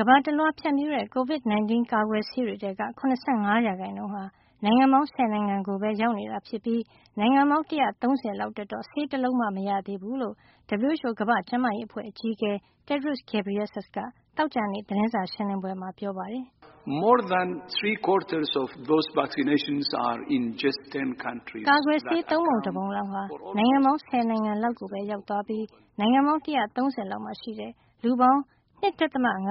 ကမ္ဘာတလွှား ဖြန့်ဖြူးတဲ့ Covid 19 ကာကွယ်ဆေးတွေထဲက ၇၅ % ဟာ နိုင်ငံပေါင်း ၁၀ နိုင်ငံကိုပဲ ရောက်နေတာ ဖြစ်ပြီး နိုင်ငံပေါင်း ၁၃၀ လောက်အတွက်တော့ ဆေးတလုံးမှ မရသေးဘူးလို့ WHO ကမ္ဘာ့ကျန်းမာရေးအဖွဲ့ အကြီးအကဲ Tedros Adhanom Ghebreyesus က သောကြာနေ့ ဂျနီဗာ သတင်းစာရှင်းလင်းပွဲမှာ ပြောပါတယ်။ ကာကွယ်ဆေး သုံးပုံတပုံလောက်ဟာ နိုင်ငံပေါင်း ၁၀ နိုင်ငံလောက်ကိုပဲ ရောက်သွားပြီး နိုင်ငံပေါင်း ၁၃၀ လောက်မှာ ရှိတဲ့ လူပေါင်း ၂.၅